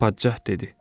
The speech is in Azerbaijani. Padşah dedi: